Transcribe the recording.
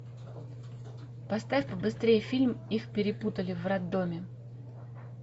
поставь побыстрее фильм их перепутали в роддоме